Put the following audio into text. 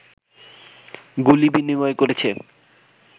গুলি বিনিময় করেছে